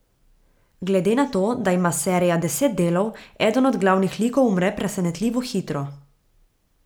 Glede na to, da ima serija deset delov, eden od glavnih likov umre presenetljivo hitro.